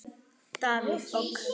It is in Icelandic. Davíð OK.